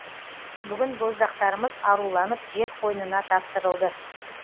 бүгін боздақтарымыз аруланып жер қойнына тапсырылды